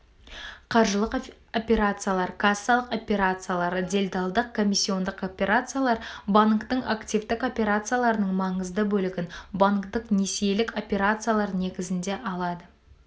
қаржылық операциялар кассалық операциялар делдалдық-комиссиондық операциялар банктің активтік операцияларының маңызды бөлігін банктік несиелік операциялары негізінде алады